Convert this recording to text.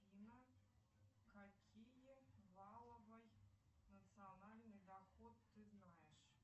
афина какие валовый национальный доход ты знаешь